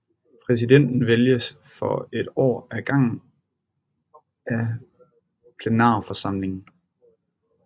Præsidenten vælges for et år ad gangen af plenarforsamlingen